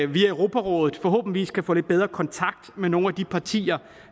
via europarådet forhåbentlig kan få lidt bedre kontakt med nogle af de partier